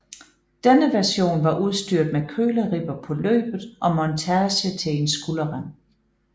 Denne version var udstyret med køleribber på løbet og montage til en skulderrem